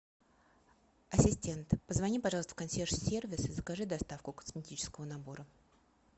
ассистент позвони пожалуйста в консьерж сервис и закажи доставку косметического набора